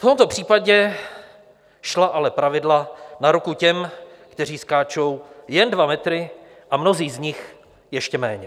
V tomto případě šla ale pravidla na ruku těm, kteří skáčou jen dva metry, a mnozí z nich ještě méně.